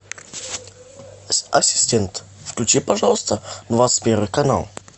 ассистент включи пожалуйста двадцать первый канал